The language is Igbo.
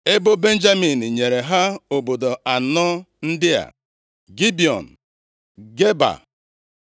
Ebo Benjamin nyere ha obodo anọ ndị a, Gibiọn, Geba,